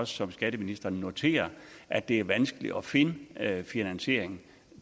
som skatteministeren noterer er det vanskeligt at finde finansiering